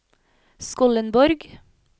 Skollenborg